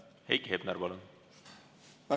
Heiki Hepner, palun!